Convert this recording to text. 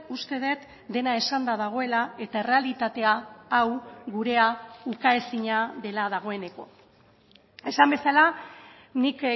uste dut dena esanda dagoela eta errealitatea hau gurea ukaezina dela dagoeneko esan bezala nik